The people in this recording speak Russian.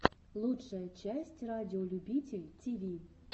лучшая часть радиолюбитель тиви